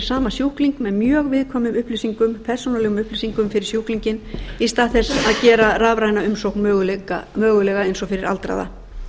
sama sjúkling með mjög viðkvæmum persónulegum upplýsingum um sjúklinginn í stað þess að gera rafræna umsókn mögulega eins og fyrir aldraða